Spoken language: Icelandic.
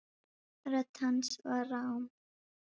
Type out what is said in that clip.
Rödd hans var rám.